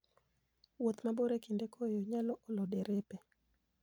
Wuoth mabor e kinde koyo, nyalo olo derepe.